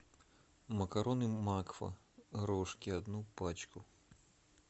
макароны макфа рожки одну пачку